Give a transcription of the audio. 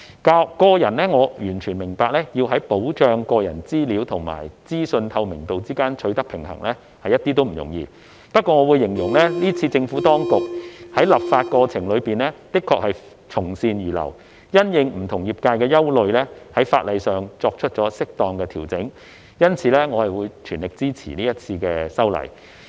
我個人完全明白要在保障個人資料及資訊透明度之間取得平衡是一點也不容易，不過我會形容政府當局是次在立法過程中的確從善如流，因應不同業界的憂慮而在法例上作出了適當的調整，因此我會全力支持這次的修例。